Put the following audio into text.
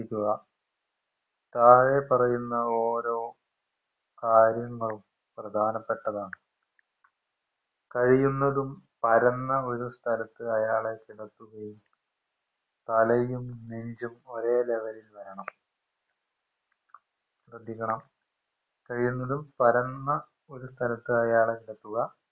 പരന്ന ഒരു സ്ഥലത്ത് അയാളെ കിടത്തുകയും തലയും നെഞ്ചും ഒരേ level ഇൽ വരണം ശ്രെദ്ധിക്കണം കഴിയുന്നതും പരന്ന ഒരു സ്ഥലത്ത് അയാളെ കിടത്തുക